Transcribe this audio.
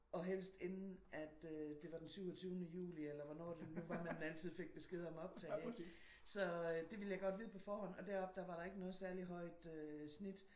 Og helst inden at øh det var den syvogtyvende juli eller hvornår det nu var man altid fik besked om optag ik? Så øh det ville jeg godt vide på forhånd og deroppe der var der ikke noget særligt højt snit